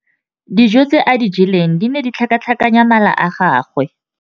Dijô tse a di jeleng di ne di tlhakatlhakanya mala a gagwe.